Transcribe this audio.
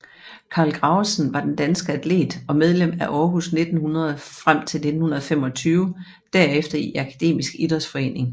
Carl Gravesen var en dansk atlet og medlem af Aarhus 1900 frem til 1925 derefter i Akademisk Idrætsforening